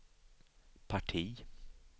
parti